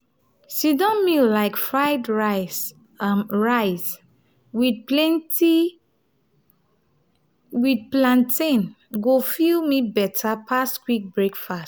sit-down meal like fried rice um rice with plenty with plantain go fill me better pass quick breakfast.